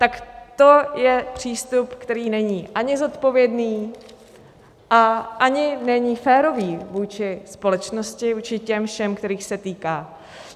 Tak to je přístup, který není ani zodpovědný a ani není férový vůči společnosti, vůči těm všem, kterých se týká.